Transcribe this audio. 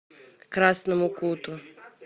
красному куту